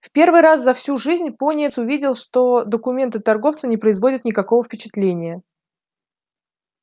в первый раз за всю жизнь пониетс увидел что документы торговца не производят никакого впечатления